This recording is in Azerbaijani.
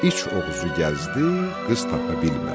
İç Oğuzu gəzdi, qız tapa bilmədi.